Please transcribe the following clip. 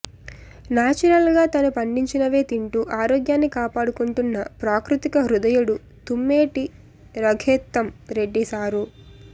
natural గా తను పండిచినవే తింటూ ఆరోగ్యాన్ని కాపాడుకుంటున్న ప్రాకృతిక హృదయుడు తుమ్మేటి రఘోత్తమ్ రెడ్డి సారు